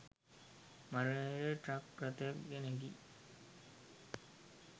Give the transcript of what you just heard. මරණය ට්‍රක් රථයක නැගී